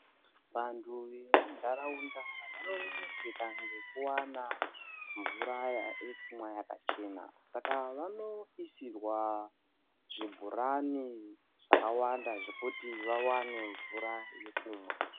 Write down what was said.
Vantu vemuntaraunda vanoneseka ngekuwana mvura yekumwa yakachena saka vanoisirwa zvibhorani zvakawanda zvekuti vawane mvura yekumwa.